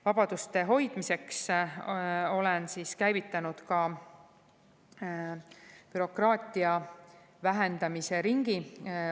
Vabaduste hoidmiseks olen käivitanud ka bürokraatia vähendamise ringi.